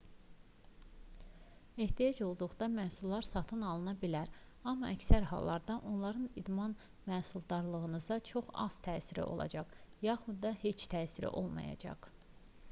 ehtiyac olduqda məhsullar satın alına bilər amma əksər hallarda onların idman məhsuldarlığınıza çox az təsiri olacaq yaxud da heç təsiri olmayacaq